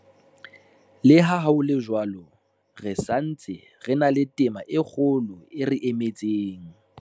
Le ha ho le jwalo, re sa ntse re na le tema e kgolo e re emetseng.